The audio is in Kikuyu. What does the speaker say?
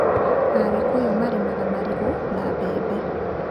Agĩkũyũ marĩmaga marigũ na mbembe.